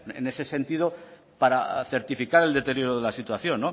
en ese sentido para certificar el deterioro de la situación